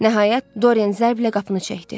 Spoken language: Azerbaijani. Nəhayət, Doriyen zərblə qapını çəkdi.